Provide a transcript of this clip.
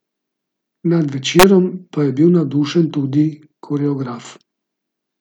Nad večerom pa je bil navdušen tudi koreograf.